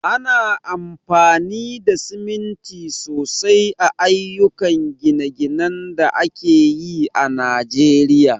Ana amfani da siminti sosai a ayyukan gine-ginen da ake yi a Najeriya.